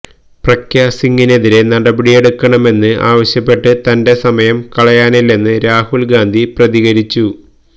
പ്രഗ്യാ സിങ്ങിനെതിരെ നടപടിയെടുക്കണമെന്ന് ആവശ്യപ്പെട്ട് തന്റെ സമയം കളയാനില്ലെന്ന് രാഹുൽ ഗാന്ധി പ്രതികരിച്ചു